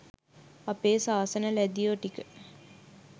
අපේ සාසන ලැදියෝ ටික